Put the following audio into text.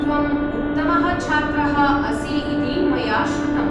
त्वम् उत्तमः छात्रः असि इति मया श्रुतम्।